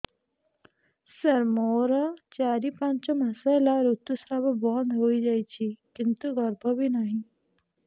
ସାର ମୋର ଚାରି ପାଞ୍ଚ ମାସ ହେଲା ଋତୁସ୍ରାବ ବନ୍ଦ ହେଇଯାଇଛି କିନ୍ତୁ ଗର୍ଭ ବି ନାହିଁ